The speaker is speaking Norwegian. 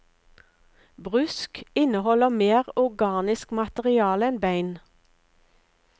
Brusk inneholder mer organisk materiale enn bein.